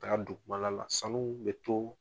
taa don la sanu bɛ to.